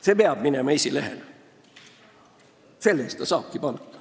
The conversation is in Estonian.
See peab minema esilehele – selle eest ta saabki palka.